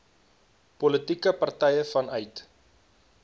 politieke partye vanuit